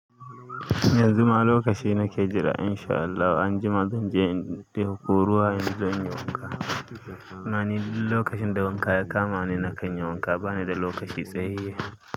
Yanzu ma lokaci nake jira in sha Allah anjima zanje in ɗauko ruwa in zanyi wanka. Amma ni duk lokacin da wanka ya kama ni nakan yi wanka bani da lokaci sai.